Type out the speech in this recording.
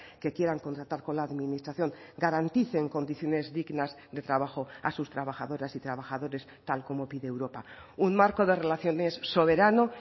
que quieran contratar con la administración garanticen condiciones dignas de trabajo a sus trabajadoras y trabajadores tal como pide europa un marco de relaciones soberano